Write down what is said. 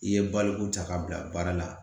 I ye baloko ta ka bila baara la